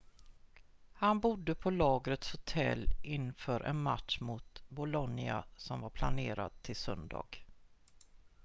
han bodde på lagets hotell inför en match mot bolonia som var planerad till söndag